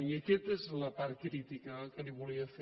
i aquesta és la part crítica que li volia fer